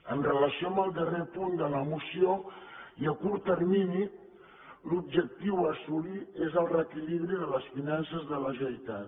amb relació al darrer punt de la moció i a curt termini l’objectiu a assolir és el reequilibri de les finances de la generalitat